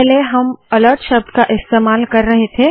पहले हम अलर्ट शब्द का इस्तेमाल कर रहे थे